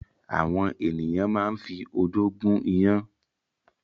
Àwọn ènìyàn máa ń fi odó gún iyán.